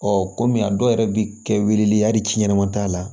kɔmi a dɔw yɛrɛ bɛ kɛ weleli ye hali si ɲɛnama t'a la